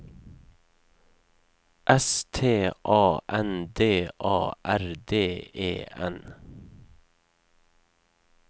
S T A N D A R D E N